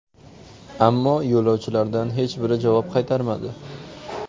Ammo yo‘lovchilardan hech biri javob qaytarmadi.